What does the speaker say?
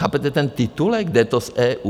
Chápete ten titulek - jde to z EU?